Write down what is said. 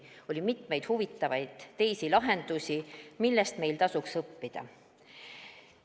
Oli mitmeid teisigi huvitavaid lahendusi, millest meil tasub õppida.